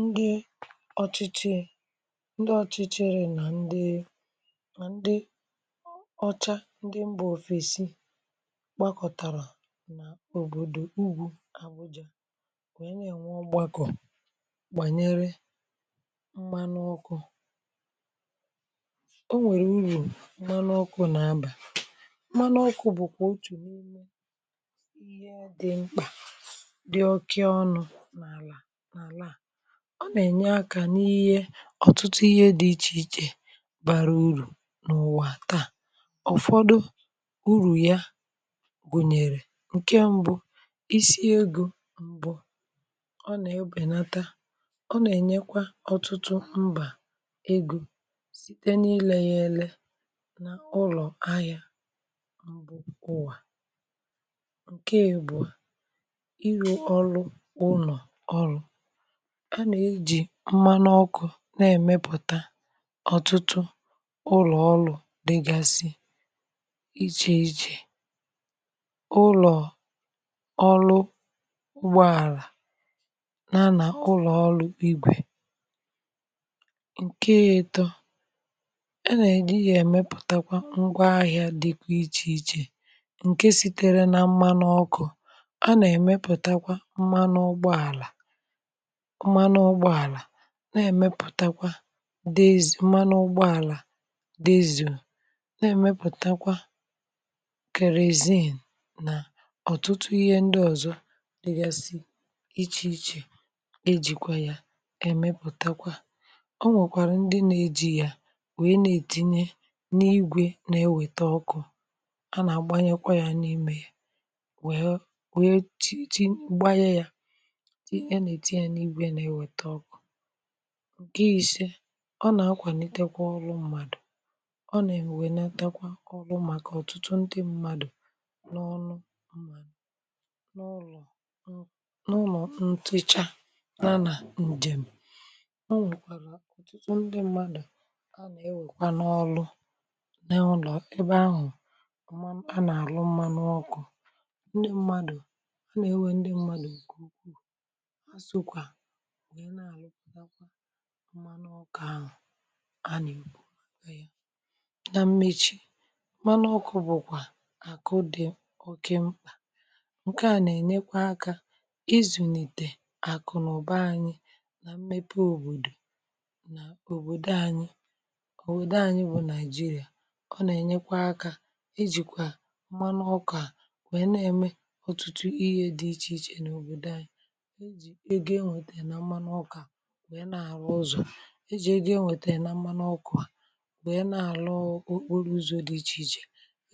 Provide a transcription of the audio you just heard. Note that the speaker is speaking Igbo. ndị ọ̀chịchị ndị ọ̀chịchịrị nà ndị mà ndị ọcha um ndị mbà òfèsi kpakọ̀tàrà n’òbòdò ugwu abụjịà wère na-ènwe gbàkọ̀ banyere mkpana ọkụ o nwèrè ugwu manụ ọkụ̀ na-abà manụ ọkụ̀ bụ̀ kà o tù n’ime ihe dị mkpà dị okị ọnụ̇ ọ nà-ènye akȧ n’ihe ọ̀tụtụ ihe dị̇ ichè ichè bara urù n’ụ̀wà taà ọ̀fọdụ urù ya bụ̀nyèrè ǹkè m̀bụ isi egȯ m̀bụ̀ ọ nà-ebènata ọ nà-ènyekwa ọtụtụ mbà egȯ site n’ilė yȧ ele nà ụlọ̀ ahịȧ um m̀bụ̀ ụwà ǹkè èbù a ịrụ̇ ọlụ ụnọ̀ ọrụ ǹke èmànụọkụ̇ na-èmepụ̀ta ọtụtụ ụlọ̀ ọlụ̇ dịgasị ichè ichè ụlọ̀ ọlụ, ụgbọ àlà na-anà ụlọ̀ ọlụ̇ igwè ǹke ya-ètọ ẹnẹ̀lẹ̀ ihe èmepụ̀takwa ngwa ahị̇ȧ dịkwa ichè ichè ǹke sitere na mmanụ ọkụ̇ a nà-èmepụ̀takwa mmanụ ụgbọ àlà na-èmepụ̀takwa dị ezì mma n’ụgbọ àlà dị ezìụ̀ um na-èmepụ̀takwa kèreziǹ nà ọ̀tụtụ ihe ndị ọ̀zọ dịgasị iche ichè ejìkwa ya èmepụ̀takwa o nwèkwàrà ndị na-eji ya wèe na-ètinye n’igwè na-ewète ọkụ̇ a nà-àgbanyekwa ya n’imė ya wèe wèe chi gbanye ya ge isė ọ nà-akwà n’itekwa ọlụ mmadụ̀ ọ nà-enwènata kwa ọlụ màkà ọ̀tụtụ ndị mmadụ̀ n’ọnụ n’ụlọ̀ ǹ n’ụlọ̀ ǹtụ ịchà n’ana ǹjèm̀ o nwèkwàrà ọ̀tụtụ ndị mmadụ̀ a nà-ewèkwa n’ọlụ n’ụlọ̀ ebe ahụ̀ a nà-àrụ mmȧ n’ọkụ̇ ndị mmadụ̀ a nà-ewe ndị mmadụ̀ òkè ukwuu mmanụ ọkà ahụ̀ anìkpo anyi um na mmechi manụ ọkụ̇ bụ̀kwà àkụ dị̀ oke mkpà ǹkèa nà-ènyekwa akȧ izùnìtè àkụ̀ nà ụ̀ba anyi na mmepe òbòdò nà òbòdo anyi òwèdo anyi bụ̀ nàịjirịà ọ nà-ènyekwa akȧ ijìkwà mmanụ ọkà nwèrè na-ème ọtụtụ ihe dị ichè ichè nà òbòdo anyi e jì e gị enwètèrè na mmanụ ọkụ̇ à bụ̀ e na-àlọghọ̀ okporo ụzọ̇ dị ichè ichè